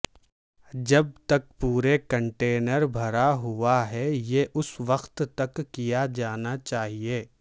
جب تک پورے کنٹینر بھرا ہوا ہے یہ اس وقت تک کیا جانا چاہئے